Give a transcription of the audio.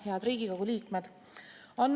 Head Riigikogu liikmed!